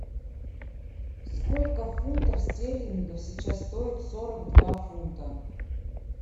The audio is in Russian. сколько фунтов стерлингов сейчас стоят сорок два фунта